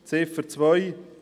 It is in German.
Ziffer 2: